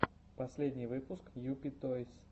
последний выпуск юпи тойс